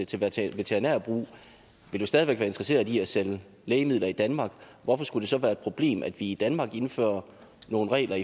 til til veterinær brug vil jo stadig væk være interesserede i at sælge lægemidler i danmark hvorfor skulle det så være et problem at vi i danmark indfører nogle regler